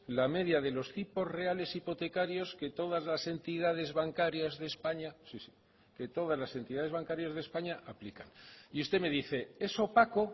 la media de los tipos reales hipotecarios que todas las entidades bancarias de españa sí que todas las entidades bancarias de españa aplican y usted me dice es opaco